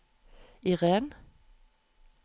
Iren